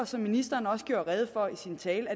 som ministeren også gjorde rede for i sin tale